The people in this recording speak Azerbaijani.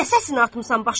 Nə səsini atmısan başına?